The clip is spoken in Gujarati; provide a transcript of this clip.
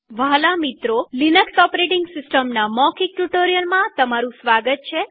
વ્હાલા મિત્રોલિનક્સ ઓપરેટીંગ સિસ્ટમના મૌખિક ટ્યુ્ટોરીઅલમાં તમારું સ્વાગત છે